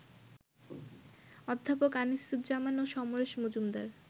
অধ্যাপক আনিসুজ্জামান ও সমরেশ মজুমদার